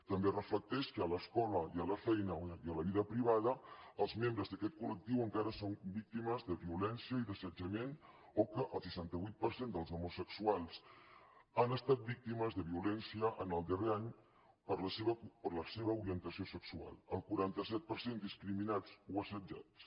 també es reflecteix que a l’escola i a la feina i a la vida privada els membres d’aquest col·lectiu encara són víctimes de violència i d’assetjament o que el seixanta vuit per cent dels homosexuals han estat víctimes de violència en el darrer any per la seva orientació sexual el quaranta set per cent discriminats o assetjats